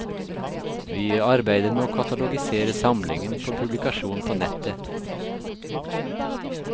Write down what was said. Vi arbeider med å katalogisere samlingen for publikasjon på nettet.